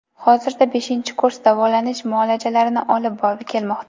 Hozirda beshinchi kurs davolanish muolajalarini olib kelmoqda.